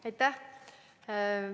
Aitäh!